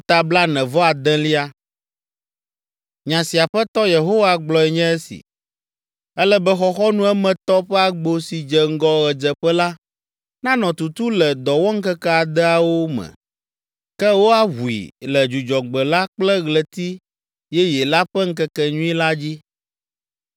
“ ‘Nya si Aƒetɔ Yehowa gblɔe nye esi: Ele be xɔxɔnu emetɔ ƒe agbo si dze ŋgɔ ɣedzeƒe la nanɔ tutu le dɔwɔŋkeke adeawo me, ke woaʋui le Dzudzɔgbe la kple Ɣleti Yeye la ƒe ŋkekenyui la dzi.